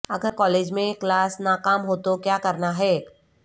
اگر کالج میں کلاس ناکام ہو تو کیا کرنا ہے